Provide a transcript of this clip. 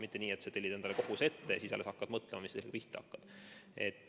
Mitte nii, et sa tellid endale koguse ära ja siis alles hakkad mõtlema, mida sellega pihta hakata.